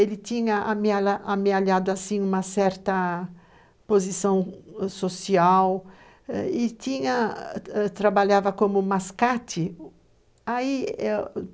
Ele tinha amealhado uma certa posição social e tinha, trabalhava como mascate, ai